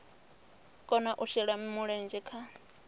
kona u shela mulenzhe kha